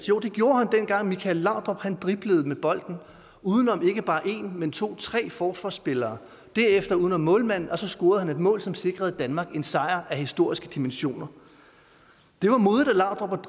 jo det gjorde han dengang michael laudrup driblede med bolden udenom ikke bare en men to eller tre forsvarsspillere derefter uden om målmanden og så scorede han et mål som sikrede danmark en sejr af historiske dimensioner det var modigt af laudrup